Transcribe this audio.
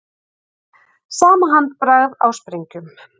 Sama handbragð á sprengjum